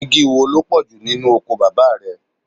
Igi wo ló pọ̀jù nínú oko bàbá rẹ?